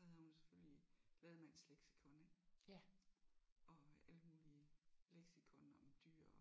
Og så havde hun selvfølgelig Lademanns leksikon ik? Og alle mulige leksikon om dyr og